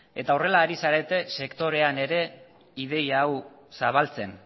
horrela ari zarete sektorean ere ideia hau zabaltzen